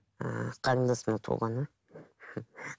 ыыы қарындасымның туылғаны